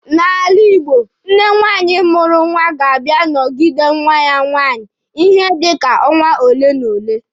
N'ala Igbo, nne nwaanyị mụrụ nwa ga-abịa nọgide nwa ya nwaanyị ihe dika ọnwa ole n'ole.